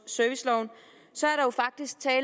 serviceloven